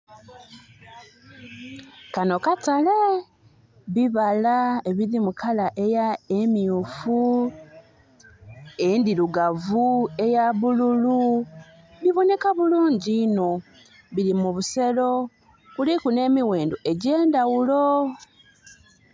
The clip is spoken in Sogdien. Kano katale? bibala ebiri mu color myufu, endhirugavu, eyabululu bibonheka bulungi inho. Biri mu busero kuliku nhe mighendho egyendhaghulo